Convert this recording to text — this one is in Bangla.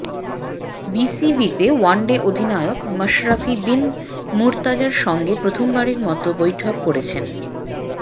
বিসিবিতে ওয়ানডে অধিনায়ক মাশরাফি বিন মুর্তজার সঙ্গে প্রথমবারের মতো বৈঠক করেছেন